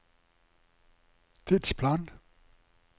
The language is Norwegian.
tidsplan